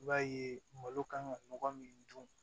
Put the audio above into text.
I b'a ye malo kan ka mɔgɔ min dun